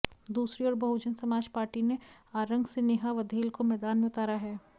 दूसरी ओर बहुजन समाज पार्टी ने आरंग से नेहा वधेल को मैदान में उतारा है